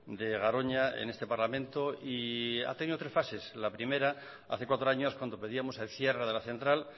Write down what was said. de garoña en este parlamento y ha tenido tres fases la primera hace cuatro años cuando pedíamos el cierre de la central